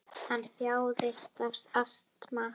Hann þjáðist af astma.